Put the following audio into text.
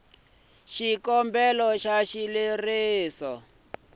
xikombelo xa xileriso xa ku